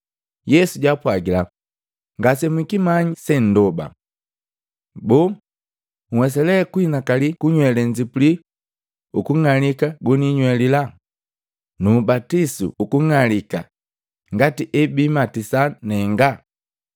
Yesu jaapwagila, “Ngasemwikimanyi se nndoba! Boo, nhwesa lee kuhinakali kunywele nzipuli ukung'alika goninywelila, nuubatisu ukung'alika ngati ebimatisa nenga?”